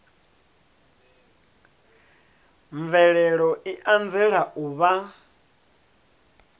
mvelelo i anzela u vha